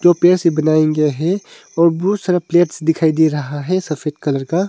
पे से बनाए गया है और बहुत सारा प्लेट दिखाई दे रहा है सफेद कलर का।